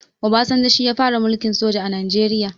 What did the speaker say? Obasanjo shi ya fara mulkin soja a najeriya